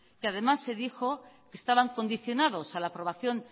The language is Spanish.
que además se dijo que estaban condicionados a la aprobación